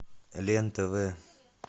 лен тв